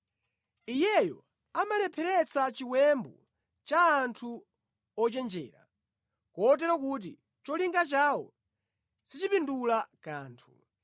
Iyeyo amalepheretsa chiwembu cha anthu ochenjera, kotero kuti cholinga chawo sichipindula kanthu.